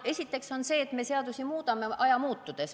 Esiteks mainin seda, et me muudame seadusi aja muutudes.